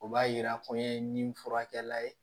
O b'a yira ko n ye nin fura kɛla ye